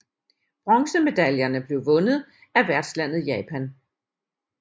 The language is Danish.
Bronzemedaljerne blev vundet af værtslandet Japan